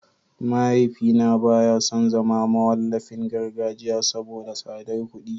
Mahaifina baya son zama mawallafin gargajiya saboda tsadar kuɗi